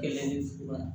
Kelen fila